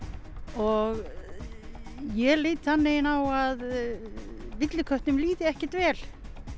og ég lít þannig á að villiköttum líði ekkert vel